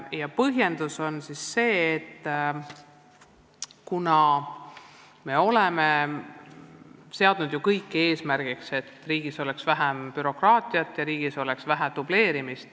Ja põhjendus on see, et me oleme seadnud eesmärgiks, et riigis oleks vähem bürokraatiat, vähem dubleerimist.